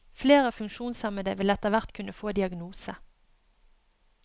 Flere funksjonshemmede vil etterhvert kunne få diagnose.